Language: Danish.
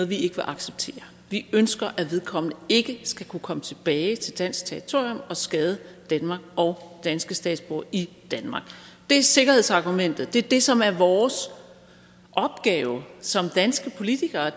vi ikke vil acceptere vi ønsker at vedkommende ikke skal kunne komme tilbage til dansk territorium og skade danmark og danske statsborgere i danmark det er sikkerhedsargumentet og det som er vores opgave som danske politikere